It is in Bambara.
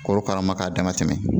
Korokara ma k'a dama tɛmɛ